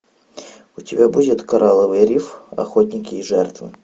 у тебя будет коралловый риф охотники и жертвы